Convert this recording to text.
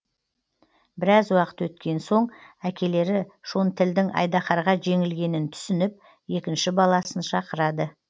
біраз уақыт өткен сон әкелері шонтілдің айдаһарға жеңілгенін түсініп екінші баласын шақырады